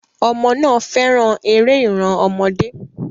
Ọmọ náà fẹ́ràn eré ìran ọmọdé.